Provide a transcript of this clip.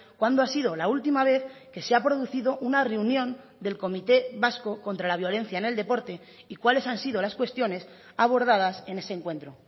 cuándo ha sido la última vez que se ha producido una reunión del comité vasco contra la violencia en el deporte y cuáles han sido las cuestiones abordadas en ese encuentro